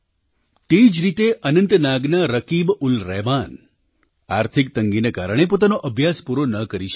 તે જ રીતે અનંતનાગના રકીબ ઉલ રહમાન આર્થિક તંગીના કારણે પોતાનો અભ્યાસ પૂરો ન કરી શક્યા